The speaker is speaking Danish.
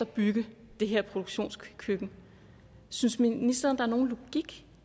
bygge det her produktionskøkken synes ministeren er nogen logik